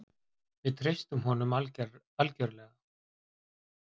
Við treystum honum algjörlega.